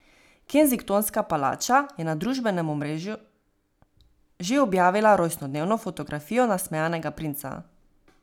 Kensingtonska palača je na družbenem omrežju že objavila rojstnodnevno fotografijo nasmejanega princa.